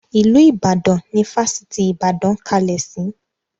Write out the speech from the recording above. Ilu Ìbàdàn ni Fásitì ìbàdàn kalẹ̀ sì.